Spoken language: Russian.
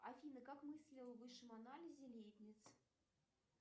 афина как мыслил в высшем анализе лейбниц